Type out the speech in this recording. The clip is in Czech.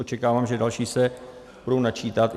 Očekávám, že další se budou načítat.